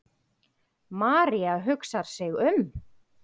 María hugsar sig um.